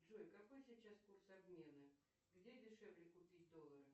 джой какой сейчас курс обмена где дешевле купить доллары